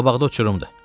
Qabaqda uçurumdur.